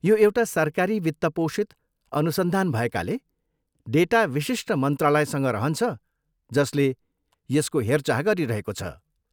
यो एउटा सरकारी वित्त पोषित अनुसन्धान भएकाले, डेटा विशिष्ट मन्त्रालयसँग रहन्छ जसले यसको हेरचाह गरिरहेको छ।